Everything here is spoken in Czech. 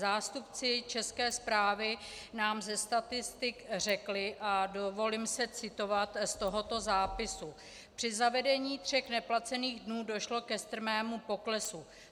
Zástupci České správy nám ze statistik řekli, a dovolím si citovat z tohoto zápisu: Při zavedení tří neplacených dnů došlo ke strmému poklesu.